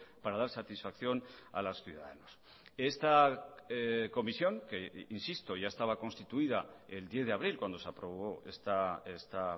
para dar satisfacción a los ciudadanos esta comisión que insisto ya estaba constituida el diez de abril cuando se aprobó esta